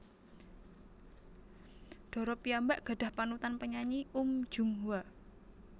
Dara piyambak gadhah panutan penyanyi Uhm Jung Hwa